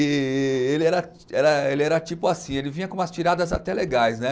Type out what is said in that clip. E e ele era era, ele era tipo assim, ele vinha com umas tiradas até legais, né?